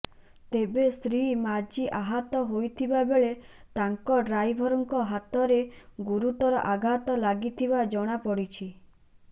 ତେବେ ଶ୍ରୀ ମାଝୀ ଆହତ ହୋଇଥିବାବେଳ ତାଙ୍କ ଡ୍ରାଇଭରଙ୍କ ହାତରେ ଗୁରୁତର ଆଘାତ ଲାଗିଥିବା ଜଣା ପଡିଛି